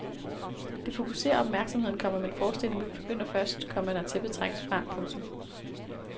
Det fokuserer opmærksomheden, komma men forestillingen begynder først, komma når tæppet trækkes fra. punktum